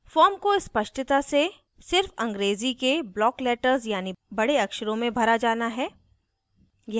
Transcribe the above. form को स्पष्टता से सिर्फ अंग्रेज़ी के block letters यानि बड़े अक्षरों में भरा जाना है